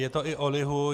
Je to i o lihu.